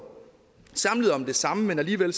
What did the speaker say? samlet om det samme men alligevel